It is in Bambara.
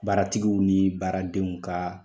Baaratigiw ni baaradenw ka